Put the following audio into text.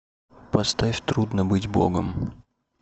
поставь трудно быть богом